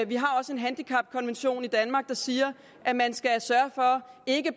vi har også en handicapkonvention i danmark der siger at man skal sørge for ikke